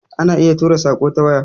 Ana iya tura saƙo ta waya